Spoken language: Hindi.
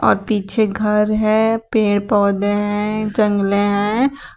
और पीछे घर है पेड़ पौधे हैं जंगले हैं।